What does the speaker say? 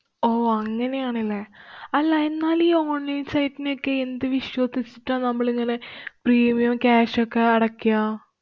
ഓ, അങ്ങനെയാണല്ലേ? അല്ല, എന്നാലും ഈ online site നേക്കെ എന്ത് വിശ്വസിസിട്ടാ നമ്മളിങ്ങനെ premium ഓം, cash ഷൊക്കെ അടയ്ക്കാ?